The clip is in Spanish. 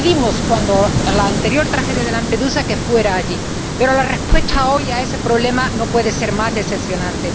Ya le pedimos, cuando la anterior tragedia de Lampedusa, que fuera allí. Pero la respuesta hoy a ese problema no puede ser más decepcionante.